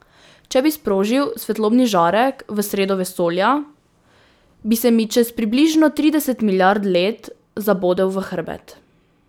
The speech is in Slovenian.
Če bi sprožil svetlobni žarek v sredo vesolja, bi se mi čez približno trideset milijard let zabodel v hrbet.